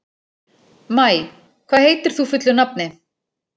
Maj, hvað heitir þú fullu nafni?